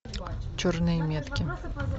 черные метки